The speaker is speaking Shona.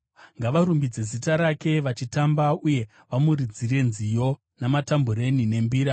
Ngavarumbidze zita rake vachitamba, uye vamuridzire nziyo namatambureni nembira.